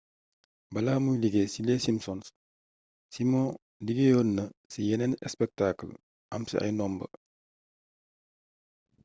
balaa muy liggéey ci les simpsons simon liggéeyoon na ci yeneen spectacle am ci ay ndomba